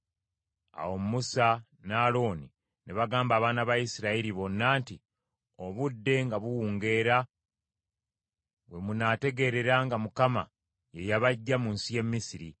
Awo Musa ne Alooni ne bagamba abaana ba Isirayiri bonna nti, “Obudde nga buwungeera, we munaategeerera nga Mukama ye yabaggya mu nsi y’e Misiri: